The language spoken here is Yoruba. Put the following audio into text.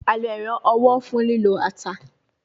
A lo ero owo fun lilo ata